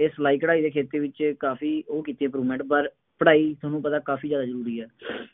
ਇਹ ਸਿਲਾਈ ਕਢਈ ਦੇ ਕਿੱਤੇ ਵਿੱਚ ਕਾਫੀ ਉਹ ਕੀਤੀ ਹੈ, ਪਰ ਪੜ੍ਹਾਈ ਤੁਹਾਨੂੰ ਪਤਾ ਕਾਫੀ ਜ਼ਿਆਦਾ ਜ਼ਰੂਰੀ ਹੈ।